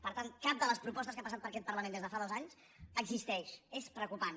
per tant cap de les propostes que han passat per aquest parlament des de fa dos anys existeix és preocupant